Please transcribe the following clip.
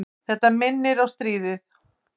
Þetta minnir á stríðið.